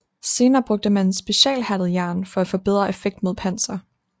Senere brugte man specialhærdet jern for at få bedre effekt mod panser